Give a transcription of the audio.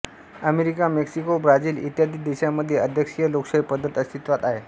America Mexico Brazil इत्यादी देशांमध्ये अध्यक्षीय लोकशाही पद्धत अस्तित्वात आहे